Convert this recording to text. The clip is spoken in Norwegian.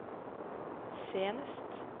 senest